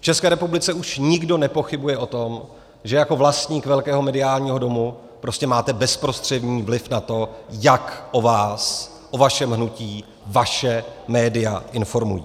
V České republice už nikdo nepochybuje o tom, že jako vlastník velkého mediálního domu prostě máte bezprostřední vliv na to, jak o vás, o vašem hnutí, vaše média informují.